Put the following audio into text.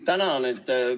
Tänan!